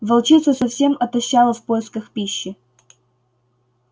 волчица совсем отощала в поисках пищи